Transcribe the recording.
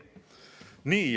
Nii.